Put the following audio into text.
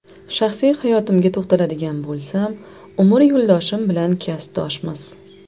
Shaxsiy hayotimga to‘xtaladigan bo‘lsam, umr yo‘ldoshim bilan kasbdoshmiz.